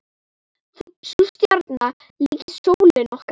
Sú stjarna líkist sólinni okkar.